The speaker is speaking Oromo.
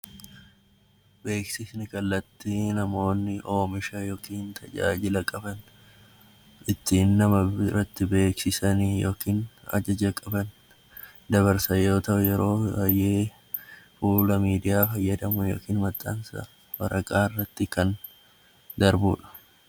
Beeksisni kallattii namoonni oomisha yookiin tajaajila qaban ittiin nama biraatti beeksisan yookaan dabarsan yoo ta'u, fuula miidiyaa yookiin waraqaa irratti kan darbudha.